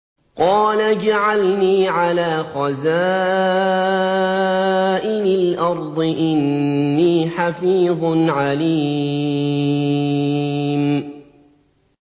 قَالَ اجْعَلْنِي عَلَىٰ خَزَائِنِ الْأَرْضِ ۖ إِنِّي حَفِيظٌ عَلِيمٌ